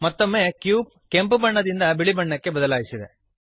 ಮತ್ತೊಮ್ಮೆ ಕ್ಯೂಬ್ ಕೆಂಪು ಬಣ್ಣದಿಂದ ಬಿಳಿ ಬಣ್ಣಕ್ಕೆ ಬದಲಾಯಿಸಿದೆ